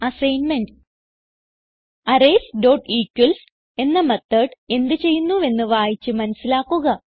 assignment arraysഇക്വൽസ് എന്ന method എന്ത് ചെയ്യുന്നുവെന്ന് വായിച്ച് മനസിലാക്കുക